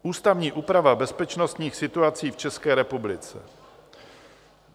Ústavní úprava bezpečnostních situací v České republice.